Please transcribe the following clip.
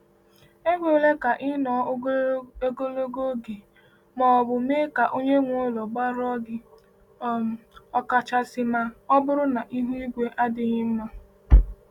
Ekwela ka ịnọ ogologo oge ma ọ bụ mee ka onye nwe ụlọ gbarụọ gị, um ọkachasị ma ọ bụrụ na ihu igwe adịghị mma.